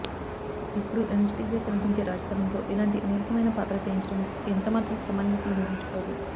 ఎప్పుడూ ఎనర్జిటిక్గా కనిపించే రాజ్ తరుణ్తో ఇలాంటి నీరసమయిన పాత్ర చేయించడం ఎంత మాత్రం సమంజసమనిపించుకోదు